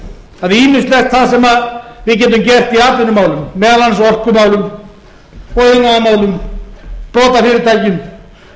að ýmislegt það sem við getum gert í atvinnumálum meðal annars í orkumálum og iðnaðarmálum sprotafyrirtækjum og